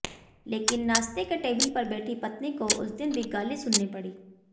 लेकिन नाश्ते के टेबिल पर बैठी पत्नी को उस दिन भी गाली सुननी पड़ी